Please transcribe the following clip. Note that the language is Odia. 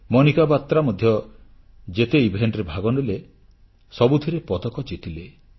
ମନିକା ବାତ୍ରା ମଧ୍ୟ ଯେତେ ବିଭାଗଶ୍ରେଣୀରେ ଭାଗନେଲେ ସବୁଥିରେ ପଦକ ଜିତିଲେ